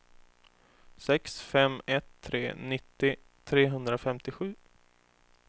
sex fem ett tre nittio trehundrafemtiosju